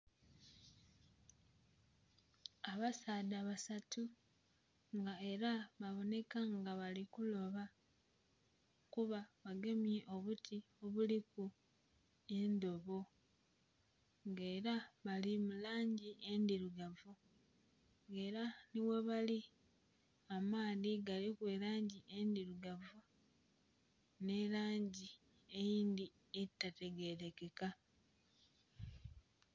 Abasaadha basatu nga era baboneka nga bali kuloba, kuba bagemye obuti obuliku endhobo. Nga era bali mu langi endirugavu, nga era nhi ghebali amaadhi galiku elangi endhirugavu nhi langi eyindhi etategerekeka.